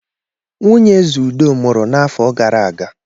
Nwunye Eze Udo mụrụ n'afọ gara aga.